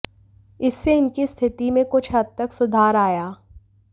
इससे इनकी स्थिति में कुछ हद तक सुधार आया